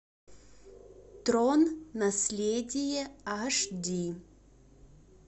трон наследие аш ди